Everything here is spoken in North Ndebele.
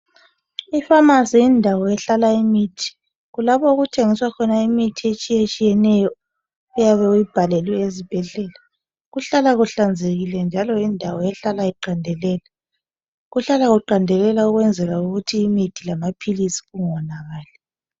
Ipharmacy yindawo okuhlala khona imithi. Lapho okuthengiswa khona imithi etshiye tshiyeneyo oyabe uyibhalelwe esibhedlela .Kuhlala kuhlanzekile njalo yindawo ehlala iqandelela .Kuhlala kuqandelela ukwenzela ukuthi imithi lamaphilisi kungonakali .